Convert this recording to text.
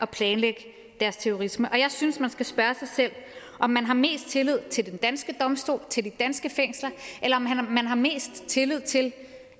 planlægge deres terrorisme jeg synes man skal spørge sig selv om man har mest tillid til de danske domstole til de danske fængsler eller om man har mest tillid til